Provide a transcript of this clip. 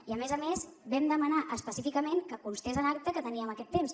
i a més a més vam demanar específicament que constés en acta que teníem aquest temps